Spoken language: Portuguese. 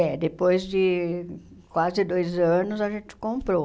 É, depois de quase dois anos a gente comprou.